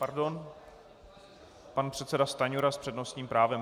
Pardon, pan předseda Stanjura s přednostním právem.